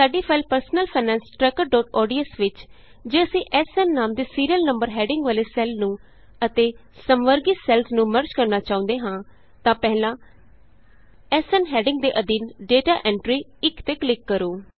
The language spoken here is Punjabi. ਸਾਡੀ ਫਾਇਲ ਪਰਸਨਲ ਫਾਈਨੈਂਸ trackerਓਡੀਐਸ ਵਿਚ ਜੇ ਅਸੀਂ ਐਸਐਨ ਨਾਮ ਦੇ ਸੀਰੀਅਲ ਨੰਬਰ ਹੈਡਿੰਗ ਵਾਲੇ ਸੈੱਲ ਨੂੰ ਅਤੇ ਸਮਵਰਗੀ ਸੈੱਲਸ ਨੂੰ ਮਰਜ ਕਰਨਾ ਚਾਹੁੰਦੇ ਹੋ ਤਾਂ ਪਹਿਲਾਂ ਐਸਐਨ ਹੈਡਿੰਗ ਦੇ ਅਧੀਨ ਡੇਟਾ ਐਂਟਰੀ 1 ਤੇ ਕਲਿਕ ਕਰੋ